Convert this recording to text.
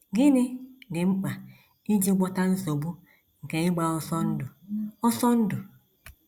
Gịnị Dị Mkpa Iji Gwọta Nsogbu nke Ịgba Ọsọ Ndụ? Ọsọ Ndụ?